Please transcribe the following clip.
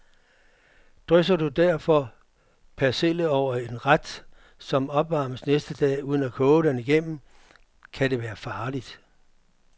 Drysser du derfor persille over en ret, som opvarmes næste dag, uden at koge den igennem, kan det være farligt.